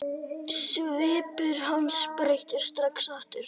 Svipur hans breyttist strax aftur.